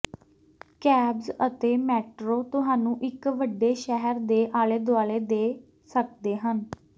cabs ਅਤੇ metro ਤੁਹਾਨੂੰ ਇੱਕ ਵੱਡੇ ਸ਼ਹਿਰ ਦੇ ਆਲੇ ਦੁਆਲੇ ਦੇ ਸਕਦੇ ਹਨ